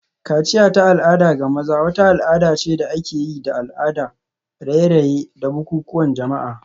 Kaciya ta al'ada ga maza wata al'ada ce da ake yi da al'ada, raye-raye, da bukukuwan jama'a.